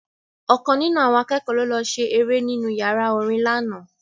Ọ̀kan nínú àwọn akẹ́kọ̀ọ́ ló lọ ṣe eré nínú yàrá orin lánàá